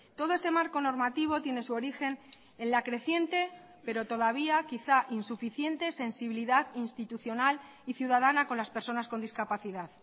todo este marco normativo tiene su origen en la creciente pero todavía quizá insuficiente sensibilidad institucional y ciudadana con las personas con discapacidad